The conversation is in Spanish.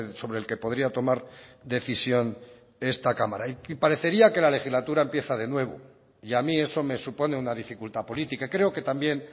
sobre el que podría tomar decisión esta cámara y parecería que la legislatura empieza de nuevo y a mí eso me supone una dificultad política creo que también